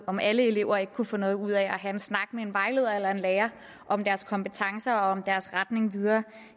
om alle elever ikke kunne få noget ud af at have en snak med en vejleder eller en lærer om deres kompetencer og om deres retning videre